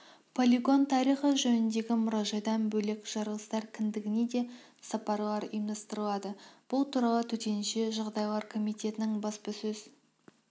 полигон тарихы жөніндегі мұражайдан бөлек жарылыстар кіндігіне де сапарлар ұйымдастырылады бұл туралы төтенше жағдайлар комитетінің баспасөз